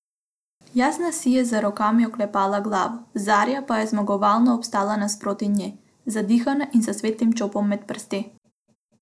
Jasna si je z rokami oklepala glavo, Zarja pa je zmagovalno obstala nasproti nje, zadihana in s svetlim čopom med prsti.